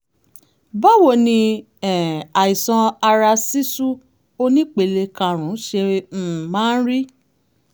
báwo ni um àìsàn ara ṣíṣú onípele karùn-ún ṣe um máa ń rí?